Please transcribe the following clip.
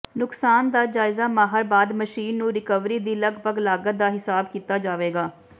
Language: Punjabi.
ਨੁਕਸਾਨ ਦਾ ਜਾਇਜ਼ਾ ਮਾਹਰ ਬਾਅਦ ਮਸ਼ੀਨ ਨੂੰ ਰਿਕਵਰੀ ਦੀ ਲਗਭਗ ਲਾਗਤ ਦਾ ਹਿਸਾਬ ਕੀਤਾ ਜਾਵੇਗਾ